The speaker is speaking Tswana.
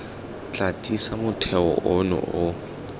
tla tiisa motheo ono o